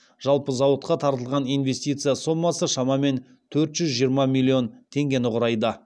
жалпы зауытқа тартылған инвестиция сомасы шамамен төрт жүз жиырма миллион теңгені құрайды